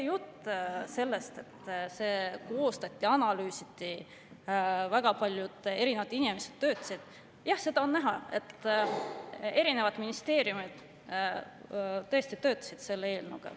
Jutt sellest, et kui seda koostati, siis analüüsiti ja väga paljud inimesed töötasid – jah, on näha, et erinevad ministeeriumid tõesti on selle eelnõuga töötanud.